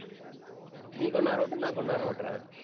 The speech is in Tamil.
நீ கொஞ்ச நேரம் ஓட்டு, நான் கொஞ்ச நேரம் ஓட்டுறேன்.